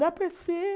Dá para ser...